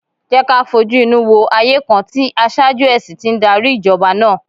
Jẹ́ ká fojú inú wo ayé kan tí aṣáájú ẹ̀sìn ti ń darí Ìjọba náà!